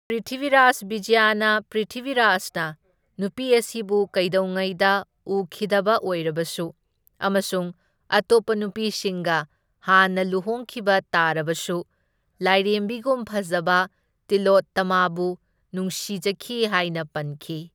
ꯄ꯭ꯔ꯭ꯤꯊꯤꯚꯤꯔꯥꯖ ꯕꯤꯖꯌꯅ ꯄ꯭ꯔ꯭ꯤꯊꯤꯚꯤꯔꯥꯖꯅ ꯅꯨꯄꯤ ꯑꯁꯤꯕꯨ ꯀꯩꯗꯧꯉꯩꯗ ꯎꯈꯤꯗꯕ ꯑꯣꯏꯔꯕꯁꯨ ꯑꯃꯁꯨꯡ ꯑꯇꯣꯞꯄ ꯅꯨꯄꯤꯁꯤꯡꯒ ꯍꯥꯟꯅ ꯂꯨꯍꯣꯡꯈꯤꯕ ꯇꯔꯥꯕꯁꯨ ꯂꯥꯏꯔꯦꯝꯕꯤꯒꯨꯝ ꯐꯖꯕ ꯇꯤꯂꯣꯠꯇꯃꯥꯕꯨ ꯅꯨꯡꯁꯤꯖꯈꯤ ꯍꯥꯢꯅ ꯄꯟꯈꯤ꯫